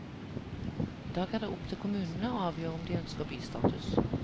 I dag er det opp til kommunene å avgjøre om de ønsker bystatus.